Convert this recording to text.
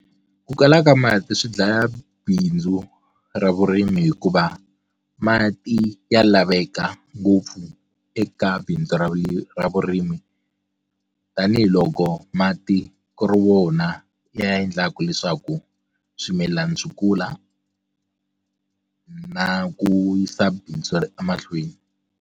Ku kala ka mati swi dlaya bindzu ra vurimi hikuva mati ya laveka ngopfu eka bindzu ra ra vurimi tanihiloko mati ku ri wona ya endlaku leswaku swimilana swi kula na ku yisa bindzu emahlweni.